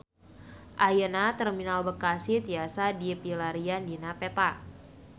Ayeuna Terminal Bekasi tiasa dipilarian dina peta